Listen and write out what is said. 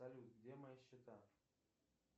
салют где мои счета